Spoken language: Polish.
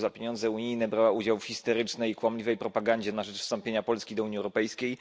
r. za pieniądze unijne brała udział w histerycznej kłamliwej propagandzie na rzecz wstąpienia Polski do Unii Europejskiej.